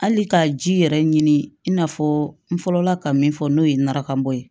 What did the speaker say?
Hali ka ji yɛrɛ ɲini i n'a fɔ n fɔlɔ la ka min fɔ n'o ye narakan bɔ ye